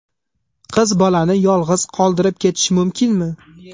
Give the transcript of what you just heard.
Qiz bolani yolg‘iz qoldirib ketish mumkinmi?